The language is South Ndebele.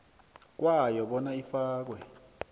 kwayo bona ifakwe